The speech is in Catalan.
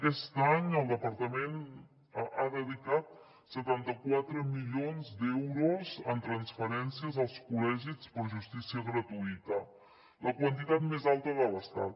aquest any el departament ha dedicat setanta quatre milions d’euros en transferències als col·legis per justícia gratuïta la quantitat més alta de l’estat